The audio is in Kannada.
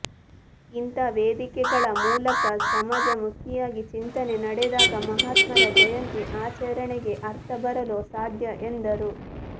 ಇಂಥ ವೇದಿಕೆಗಳ ಮೂಲಕ ಸಮಾಜಮುಖಿಯಾಗಿ ಚಿಂತನೆ ನಡೆದಾಗ ಮಹಾತ್ಮರ ಜಯಂತಿ ಆಚರಣೆಗೆ ಅರ್ಥಬರಲು ಸಾಧ್ಯ ಎಂದರು